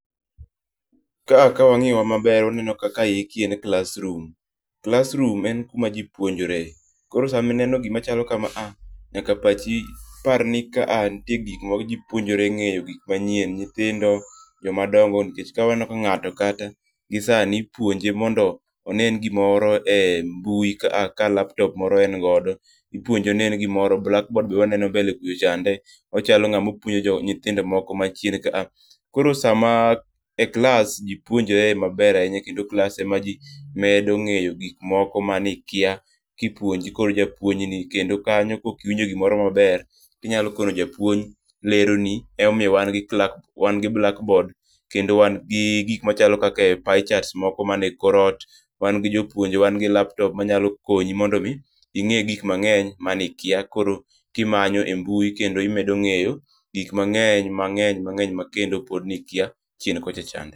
Ka wang'iyo ma ber wa neno ka eki en classroom. classroom en ku ma ji puonjore, koro sa mi ineno gi ma chalo ka maa, nyaka pachi par ni ka nitie gik ma ji puonjore ng'eyo gik manyien. Nyithindo jok ma dongo, nikech ka wa neno ka ng'ato kata gi sani ipuonje mondo one n gi moro e mbui kaa ka laptop moro en godo ipuonje onen gi moro black board be waneno mbele kucho chande. Ochalo ng'a ma puonjo jo nyithindo moko ma chien ka koro sa ma e klas ji puonjore ma ber ahinya kendo e klas e ma ji medo ng'eyo gik moko ma gi kia ki ipuonjo gi japuonj ni kendo kanyo ko ok iwinjo gi oro ma ber inyalo kono japuonj lero ni ema omiyo wan gi wan gi blackboard kendo wan gi gik machalo kaka pie charts mani kor ot, wan gi jopuonje, wan gi laptop ma nyalo konyi mondo inge gik mang'eny ma ni ikia koro ki imanyo e mbui kendo imedo ng'eyo gik mang'eny mang'eny ma kendo pod ni ikia chien kocha chande.